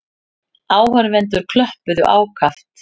Áhorfendur klöppuðu ákaft.